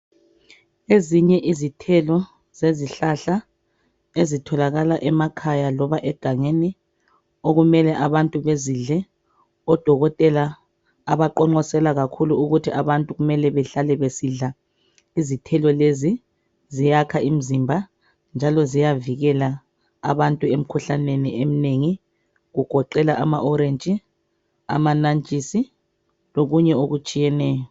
ezinye izithelo lezihlahla ezitholakala emakhaya loba egangeni okumele abantu bezidle odokotela abaqoqosela kakhulu ukuthi abantu kumel behlale besidla izithelo lezi ziyakha imzimba njalo ziyavikela abantu emkhuhlaneni emnengi kugqela ama orangeama nantshinsi lokunye okutshiyeneyo